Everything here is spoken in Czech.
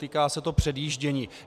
Týká se to předjíždění.